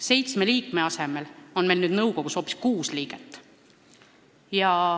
Seitsme liikme asemel on meil nüüd nõukogus kuus liiget.